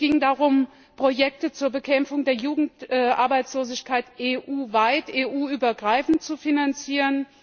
Es ging darum, Projekte zur Bekämpfung der Jugendarbeitslosigkeit EU weit, EU übergreifend zu finanzieren.